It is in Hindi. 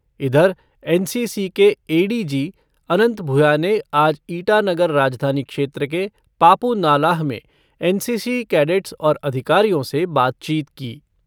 इधर एन सी सी के A D G, Anant Bhuya ने आज ईटानगर राजधानी क्षेत्र के पापु नालाह में एन सी सी कैडेट्स और अधिकारियों से बातचीत की।